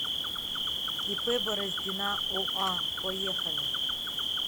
ип бороздина оа поехали